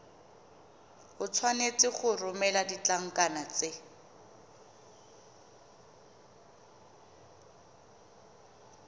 tshwanetse go romela ditlankana tse